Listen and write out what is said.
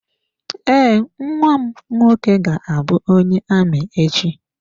Ee, nnwa m nwoke ga-abụ onye amị echi.